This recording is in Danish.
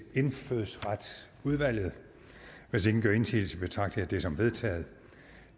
indfødsretsudvalget hvis ingen gør indsigelse betragter jeg det som vedtaget